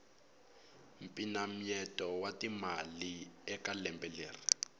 mpinamyeto wa timali eka lembe leri